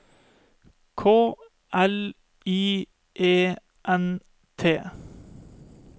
K L I E N T